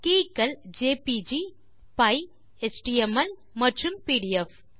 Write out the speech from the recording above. K க்கள் JPG comma பை comma HTML comma மற்றும் பிடிஎஃப்